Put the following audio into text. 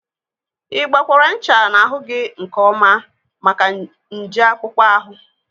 Ịgbakwaara ncha n'ahụ gị nkeọma maka nje akpụkpọ ahụ?